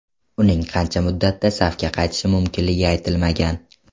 Uning qancha muddatda safga qaytishi mumkinligi aytilmagan.